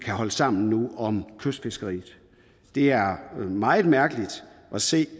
kan holde sammen nu om kystfiskeriet det er meget mærkeligt at se